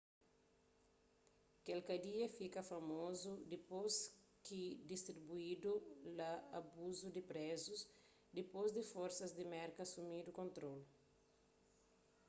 kel kadia fika famozu dipôs ki diskubridu la abusu di prézus dipôs di forsas di merka asumidu kontrolu